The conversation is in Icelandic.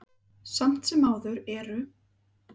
Samt sem áður eru